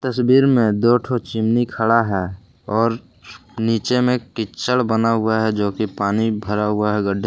तस्वीर में दो ठो चिमनी खड़ा है और नीचे में कीचड़ बना हुआ है जो कि पानी भरा हुआ है गड्ढे--